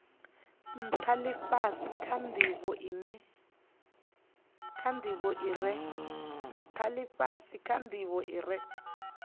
ntha lifhasini kha ndivho ire